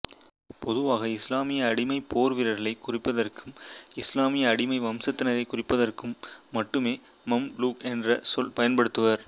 பொதுவாக இசுலாமிய அடிமைப் போர் வீரர்களைக் குறிப்பதற்கும் இசுலாமிய அடிமை வம்சத்தினரை குறிப்பதற்கும் மட்டுமே மம்லூக் என்ற சொல் பயன்படுத்துவர்